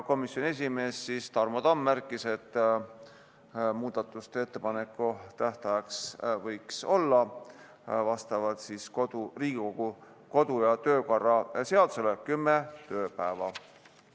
Komisjoni esimees Tarmo Tamm märkis, et muudatusettepanekute tähtajaks võiks olla vastavalt Riigikogu kodu- ja töökorra seadusele 10 tööpäeva.